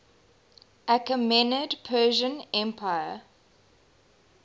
achaemenid persian empire